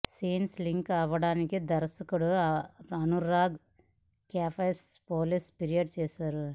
scenes leak అవ్వగానే దర్శకుడు అనురాగ్ కశ్యప్ పోలీసులకు ఫిర్యాదు చేశాడు